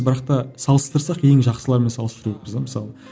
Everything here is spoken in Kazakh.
бірақ та салыстырсақ ең жақсыларымен салыстыру керекпіз де мысалы